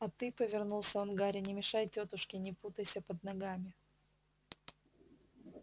а ты повернулся он к гарри не мешай тётушке не путайся под ногами